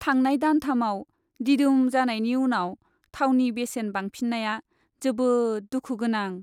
थांनाय दानथामाव दिदोम जानायनि उनाव थावनि बेसेन बांफिन्नाया जोबोद दुखु गोनां।